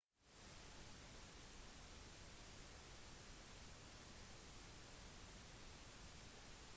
nålen av stål kan flyte på vannoverflaten grunnet overflatespenningen